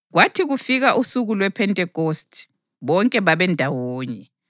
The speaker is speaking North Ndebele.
Kwathi kufika usuku lwePhentekhosti, bonke babendawonye.